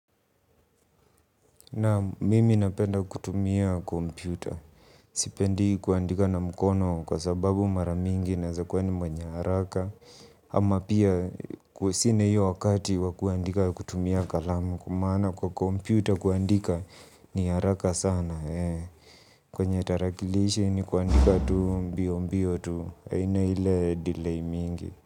Naam mimi napenda kutumia kompyuta. Sipendi kuandika na mkono kwa sababu mara mingi naeza kuwa ni mwenye haraka. Ama pia kuwa sina hiyo wakati wa kuandika kutumia kalamu kwa maana kwa kompyuta kuandika ni haraka sana. Kwenye tarakilishi ni kuandika tu mbio mbio tu. Haina ile delay mingi.